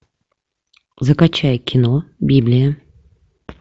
закачай кино библия